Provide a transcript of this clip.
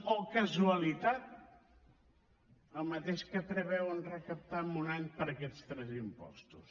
oh casualitat el mateix que preveuen recaptar en un any per aquests tres impostos